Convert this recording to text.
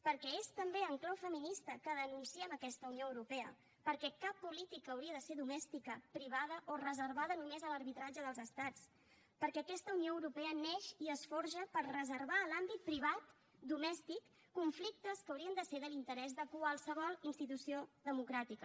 perquè és també en clau feminista que denunciem aquesta unió europea perquè cap política hauria de ser domèstica privada o reservada només a l’arbitratge dels estats perquè aquesta unió europea neix i es forja per reservar a l’àmbit privat domèstic conflictes que haurien de ser de l’interès de qualsevol institució democràtica